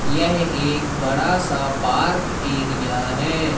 यह एक बड़ा सा पार्क एरिया है।